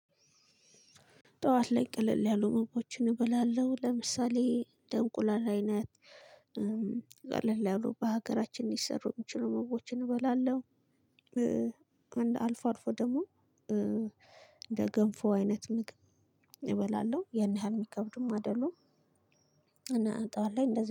ጠዋት ላይ ቀለል ያሉ ምግቦችን እበላለሁ። ለምሳሌ እንደ እንቁላል አይነት- ቀለል ያሉ በሀገራችን ሊሰሩ የሚችሉ ምግቦችን እበላለሁ። አልፎ አልፎ ደግሞ እንደ ገንፎ አይነት ምግብ እበላለሁ። ያን ያህል የሚከብዱም አይደሉም እና ጠዋት ላይ እንደዚህ-